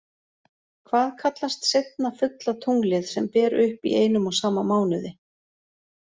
Hvað kallast seinna fulla tunglið sem ber upp í einum og sama mánuði?